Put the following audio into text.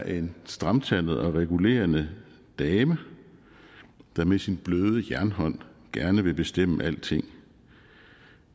en stramtandet og regulerende dame der med sin bløde jernhånd gerne vil bestemme alting